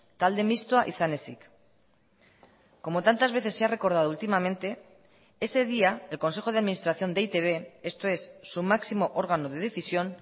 talde mistoa izan ezik como tantas veces se ha recordado últimamente ese día el consejo de administración de e i te be esto es su máximo órgano de decisión